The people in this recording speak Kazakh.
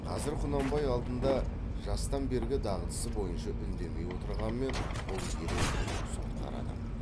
қазір құнанбай алдында жастан бергі дағдысы бойынша үндемей отырғанмен бұл ерен бүлік сотқар адам